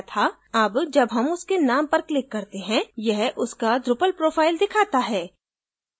अब जब हम उसके name पर click करते हैं यह उसका drupal profile दिखाता है